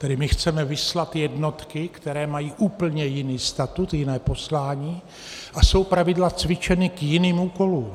Tedy my chceme vyslat jednotky, které mají úplně jiný statut, jiné poslání a jsou zpravidla cvičeny k jiným úkolům.